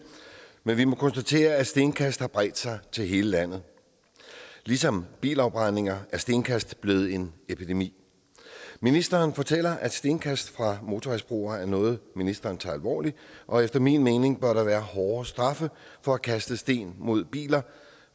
men vi må konstatere at stenkast har bredt sig til hele landet ligesom bilafbrændinger er stenkast blevet en epidemi ministeren fortæller at stenkast fra motorvejsbroer er noget ministeren tager alvorligt og efter min mening bør der være hårdere straffe for at kaste sten mod biler